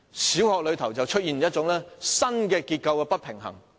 小學出現新的結構不平衡的情況。